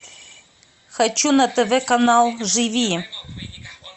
хочу на тв канал живи